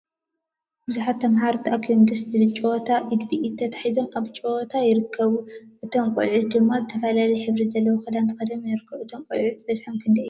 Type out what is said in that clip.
ብዙሓት ተማሃሮ ተአኪቦም ደስ ዝብል ጨወታ ኢድ ብኢድ ተታሒዞም ኣብ ምጭዋት ይርከቡ። እቶ ቆልዑ ድማ ዝተፈላለየ ሕብሪ ዘለዎ ክዳን ተከዲኖም ይርከቡ። እቶም ቆልዑ በዝሖም ክንደይ እዮም?